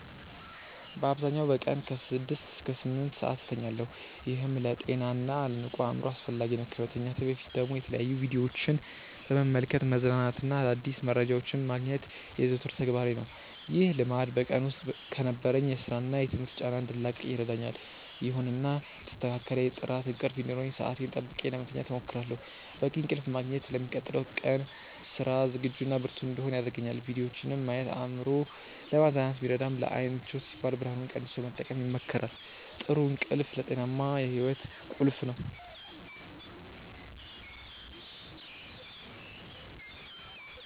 በአብዛኛው በቀን ከ6 እስከ 8 ሰዓት እተኛለሁ፤ ይህም ለጤናና ለንቁ አእምሮ አስፈላጊ ነው። ከመተኛቴ በፊት ደግሞ የተለያዩ ቪዲዮዎችን በመመልከት መዝናናትና አዳዲስ መረጃዎችን ማግኘት የዘወትር ተግባሬ ነው። ይህ ልማድ በቀን ውስጥ ከነበረኝ የሥራና የትምህርት ጫና እንድላቀቅ ይረዳኛል። ይሁንና የተስተካከለ የጥራት እንቅልፍ እንዲኖረኝ ሰዓቴን ጠብቄ ለመተኛት እሞክራለሁ። በቂ እንቅልፍ ማግኘት ለሚቀጥለው ቀን ስራ ዝግጁና ብርቱ እንድሆን ያደርገኛል። ቪዲዮዎችን ማየት አእምሮን ለማዝናናት ቢረዳም፣ ለዓይን ምቾት ሲባል ብርሃኑን ቀንሶ መጠቀም ይመከራል። ጥሩ እንቅልፍ ለጤናማ ሕይወት ቁልፍ ነው።